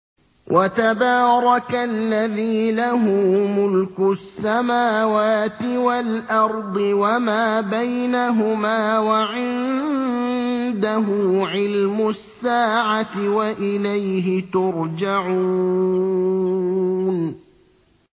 وَتَبَارَكَ الَّذِي لَهُ مُلْكُ السَّمَاوَاتِ وَالْأَرْضِ وَمَا بَيْنَهُمَا وَعِندَهُ عِلْمُ السَّاعَةِ وَإِلَيْهِ تُرْجَعُونَ